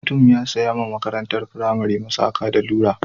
Wani mutum ya saya wa makarntar firamare ta masaka rula.